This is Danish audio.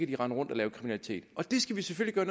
de rende rundt og lave kriminalitet og det skal vi selvfølgelig